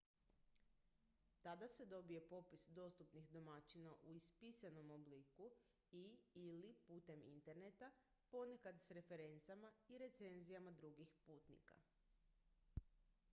tada se dobije popis dostupnih domaćina u ispisanom obliku i/ili putem interneta ponekad s referencama i recenzijama drugih putnika